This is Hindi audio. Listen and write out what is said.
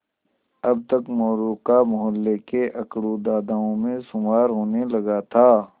अब तक मोरू का मौहल्ले के अकड़ू दादाओं में शुमार होने लगा था